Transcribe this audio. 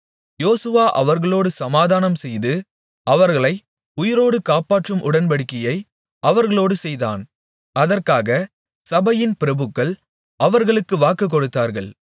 யோசுவா அவர்களோடு சமாதானம்செய்து அவர்களை உயிரோடு காப்பாற்றும் உடன்படிக்கையை அவர்களோடு செய்தான் அதற்காக சபையின் பிரபுக்கள் அவர்களுக்கு வாக்குக்கொடுத்தார்கள்